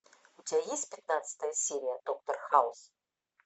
у тебя есть пятнадцатая серия доктор хаус